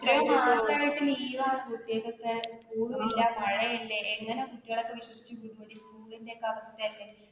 ഒരു ഒരുമാസമായിട്ട് leave ണ് കുട്ടികൾക്കൊക്കെ. school മില്ല മഴയല്ലേ എങ്ങനെ കുട്ടികളെയൊക്കെ വിശ്വസിച്ചു വിടും school ന്റെയൊക്കെ അവസ്ഥായല്ലേ.